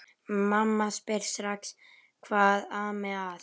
Mamma spyr strax hvað ami að.